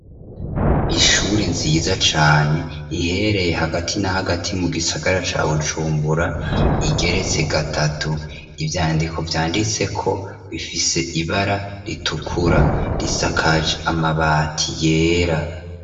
Ishuri nziza cane ihereye hagati na hagati mu gisagara ca bujumbura igeretse gatatu ivyandiko vyanditse ko bifise ibara ritukura risakaje amabati yera.